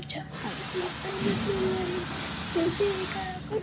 छान अशी jeans pant घातलेली आहे तेथे एका राखा --